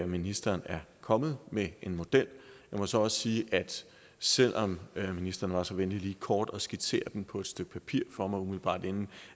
ministeren er kommet med en model jeg må så også sige at selv om ministeren var så venlig lige kort at skitsere den på et stykke papir for mig umiddelbart inden